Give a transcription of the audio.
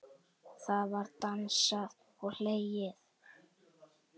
Það var dansað og hlegið.